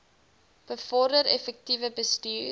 bevorder effektiewe bestuur